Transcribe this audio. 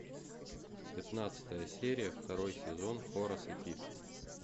пятнадцатая серия второй сезон хорас и пит